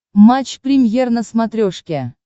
матч премьер на смотрешке